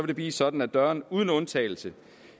det blive sådan at dørene uden undtagelse